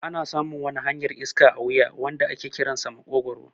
Ana samun wani hanyar iska a wuya wanda ake kiransa maƙogwaro